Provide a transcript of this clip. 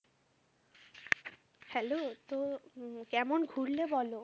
Hello তো, কেমন ঘুরলে বলো?